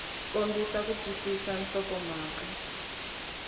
kombisa ku twisisa nhlokomhaka hi